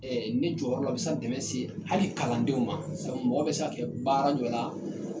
ne jɔyɔrɔ la o bɛ se ka dɛmɛ se hali kalandenw ma sabu mɔgɔ bɛ se ka kɛ baara jɔ la.